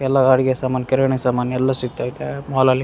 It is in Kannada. ಎಲ್ಲ ಅಡಿಗೆ ಸಾಮಾನ್ ಕಿರಣಿ ಸಾಮಾನ್ ಎಲ್ಲ ಸಿಕ್ತೈತೆ ಮಾಲಲ್ಲಿ .